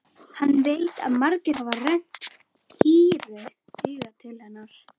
Hann veit að margir hafa rennt hýru auga til hennar.